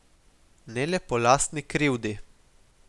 Ne le po lastni krivdi.